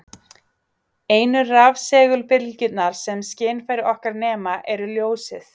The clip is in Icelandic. Einu rafsegulbylgjurnar sem skynfæri okkar nema eru ljósið.